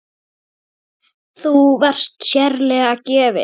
Þú varst sérlega vel gefin.